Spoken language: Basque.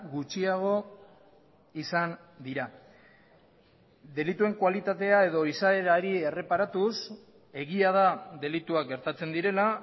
gutxiago izan dira delituen kualitatea edo izaerari erreparatuz egia da delituak gertatzen direla